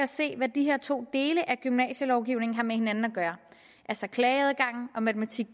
se hvad de her to dele af gymnasielovgivningen har med hinanden at gøre altså klageadgangen og matematik